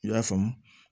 I y'a faamu